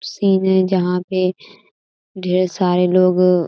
scene है जहाँ पे ढेर सारे लोग --